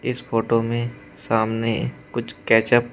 इस फोटो में सामने कुछ कैच अप --